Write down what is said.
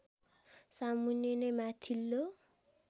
सामुन्ने नै माथिल्लो